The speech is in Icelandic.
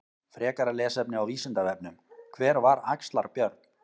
Frekara lesefni á Vísindavefnum: Hver var Axlar-Björn?